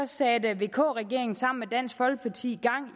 satte vk regeringen sammen med dansk folkeparti gang